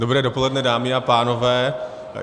Dobré dopoledne, dámy a pánové.